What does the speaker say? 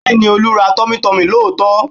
Bẹ́ẹ̀ni, Olú ra tummytummy lóòótọ́